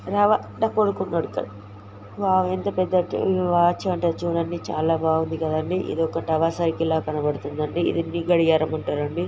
Wow ఎంత పెద్ద టి వాచ్ అంటారు చూడండి చాలా బాగుంది కదండి.ఇది ఒక టవర్ సైకిల్ లా కనబడుతుంది అండి. ఇది నీ గడియారం అంటారండి. .